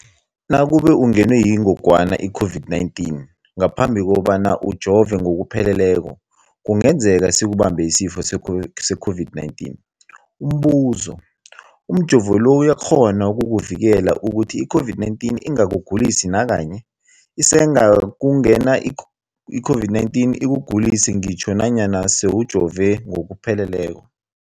Nakube ungenwe yingogwana i-COVID-19 ngaphambi kobana ujove ngokupheleleko, kungenzeka sikubambe isifo se-COVID-19. Umbuzo, umjovo lo uyakghona ukukuvikela ukuthi i-COVID-19 ingakugulisi nakanye? Isengakungena i-COVID-19 ikugulise ngitjho nanyana sewujove ngokupheleleko.